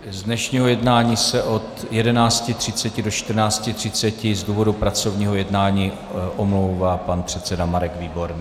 Z dnešního jednání se od 11.30 do 14.30 z důvodu pracovního jednání omlouvá pan předseda Marek Výborný.